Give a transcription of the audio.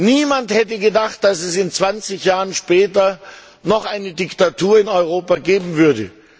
Niemand hätte gedacht, dass es 20 Jahre später noch eine Diktatur in Europa geben würde.